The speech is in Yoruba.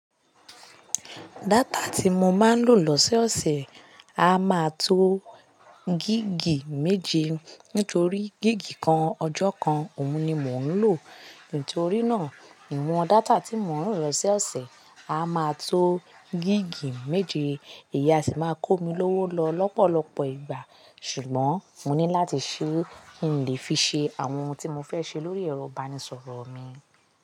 Data tí mo máa ń lò lọ́sẹ̀ ọ̀sẹ̀ a máa tó gígi méje. Nítorí gíga kan ọjọ́ kan òun ni mò ń lò. Nítorí náà ìwọ̀n data tí mò ń lò lọ́sẹ̀ ọ̀sẹ̀ a máa tó gígi méje. Ìyá sì máa ń kó mi lówó lọ lọ́pọ̀lọpọ̀ ìgbà. Ṣùgbọ́n mo ní láti ṣí i, n lí fi ṣe àwọn ohun tí mo fẹ́ ṣe lórí ẹ̀rọ ìbánisọ̀rọ̀ mi.